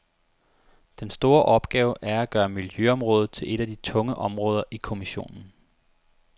Den store opgave er at gøre miljøområdet til et af de tunge områder i kommissionen.